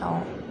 Awɔ